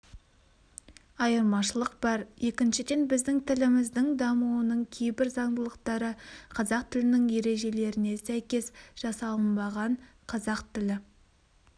айырмашылық бар екіншіден біздің тіліміздің дамуының кейбір заңдылықтары қазақ тілінің ережелеріне сәйкес жасалынбаған қазақ тілі